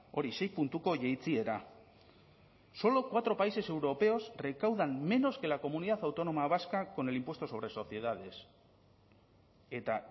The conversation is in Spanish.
hori sei puntuko jaitsiera solo cuatro países europeos recaudan menos que la comunidad autónoma vasca con el impuesto sobre sociedades eta